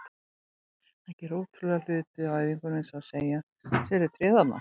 Hann gerir ótrúlega hluti á æfingum eins og að segja: Sérðu tréð þarna?